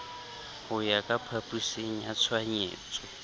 ho ya phapusing ya tshohanyetso